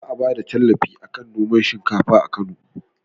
Za a bada tallafi akan noman shinkafa a kano